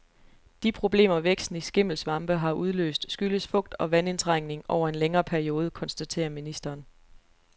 De problemer, væksten i skimmelsvampe har udløst, skyldes fugt og vandindtrængning over en længere periode, konstaterer ministeren.